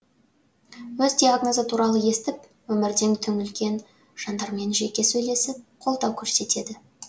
өз диагнозы туралы естіп өмірден түңілген жандармен жеке сөйлесіп қолдау көрсетеді